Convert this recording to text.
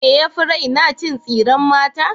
Me yafi raina? Cin tsiren mata.